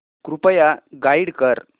कृपया गाईड कर